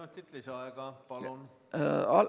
Kolm minutit lisaaega, palun!